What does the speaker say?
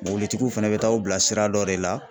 Mobilitigiw fɛnɛ bɛ taa aw bila sira dɔ de la.